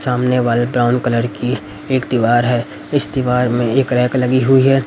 सामने वाले brown colour की एक दीवार है इस दीवार में एक रैक लगी हुई है।